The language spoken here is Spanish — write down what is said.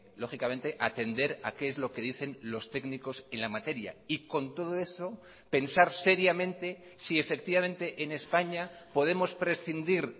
lógicamente atender a qué es lo que dicen los técnicos en la materia y con todo eso pensar seriamente si efectivamente en españa podemos prescindir